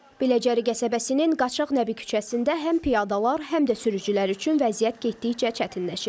Biləcəri qəsəbəsinin Qaçaq Nəbi küçəsində həm piyadalar, həm də sürücülər üçün vəziyyət getdikcə çətinləşir.